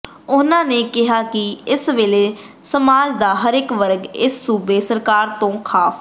ਉਹਨਾਂ ਕਿਹਾ ਕਿ ਇਸ ਵੇਲੇ ਸਮਾਜ ਦਾ ਹਰੇਕ ਵਰਗ ਇਸ ਸੂਬਾ ਸਰਕਾਰ ਤੋ ਕਾਫ